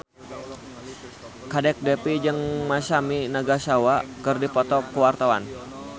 Kadek Devi jeung Masami Nagasawa keur dipoto ku wartawan